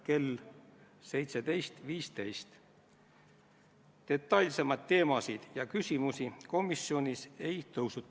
Panen hääletusele Reformierakonna fraktsiooni ettepaneku katkestada seaduseelnõu 47 teine lugemine.